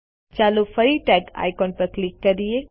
ચાલો ફરી tag icon પર ક્લિક કરીએ